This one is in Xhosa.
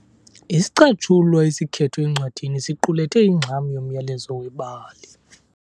Isicatshulwa esikhethwe encwadini siqulethe ingxam yomyalezo webali.